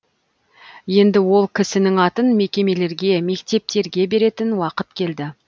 енді ол кісінің атын мекемелерге мектептерге беретін уақыт келді